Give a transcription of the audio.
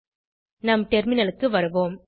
Kom back to our terminal